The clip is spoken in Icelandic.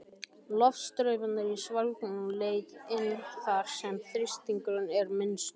Loftstraumarnir í svelgnum leita inn þar, sem þrýstingurinn er minnstur.